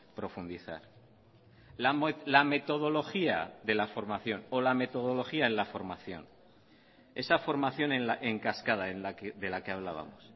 profundizar la metodología de la formación o la metodología en la formación esa formación en cascada de la que hablábamos